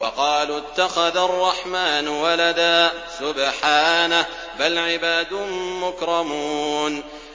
وَقَالُوا اتَّخَذَ الرَّحْمَٰنُ وَلَدًا ۗ سُبْحَانَهُ ۚ بَلْ عِبَادٌ مُّكْرَمُونَ